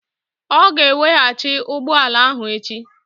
Ọ ga-eweghachi ụgbọ ala ahụ echi.